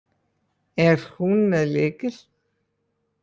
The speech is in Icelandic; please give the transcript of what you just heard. Er hún með lykil?